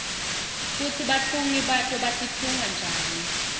kutsi batfungi bato batitfunga njani